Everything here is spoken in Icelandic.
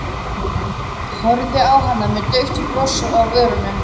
Horfði á hana með dauft bros á vörunum.